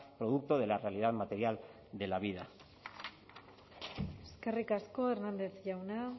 producto de la realidad material de la vida eskerrik asko hernández jauna